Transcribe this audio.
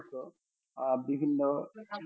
হত আহ বিভিন্ন